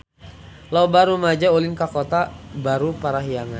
Loba rumaja ulin ka Kota Baru Parahyangan